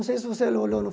Não sei se você o olhou o